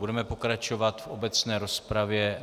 Budeme pokračovat v obecné rozpravě.